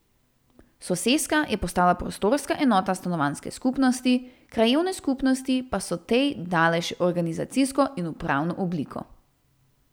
Soseska je postala prostorska enota stanovanjske skupnosti, krajevne skupnosti pa so tej dale še organizacijsko in upravno obliko.